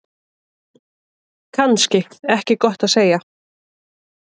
Kannski ekki gott að segja.